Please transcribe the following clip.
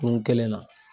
Kurun kelen na